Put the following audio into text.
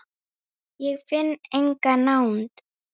Ég finn enga nánd.